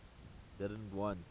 didn t want